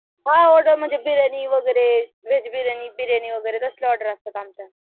हो हो बिर्याणी व्हेज बिर्याणी असल्या ओर्डेर असतात आमच्या